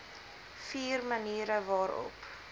vier maniere waarop